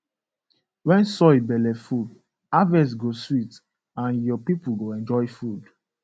when soil belle full harvest go sweet and your people go enjoy food